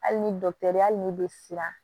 Hali ni dɔgɔtɔrɔ ye hali n'i bɛ siran